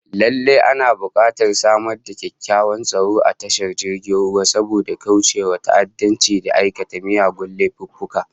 Lallai ana bukatar samar da kyakkyawan tsaro a tashar jirgin ruwa, saboda kaucewa ta'addanci da aikata miyagun laifuffuka